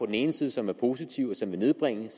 den ene side som er positive og som vil nedbringe